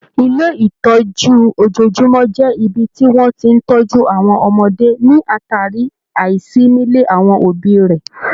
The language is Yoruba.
Ilé ìtọ́jú ojojúmọ́ jẹ ibi tí wọ́n ti ń tọjú àwọn ọmọdé ní àtàrí àìsí nílé àwọn òbí rẹ̀.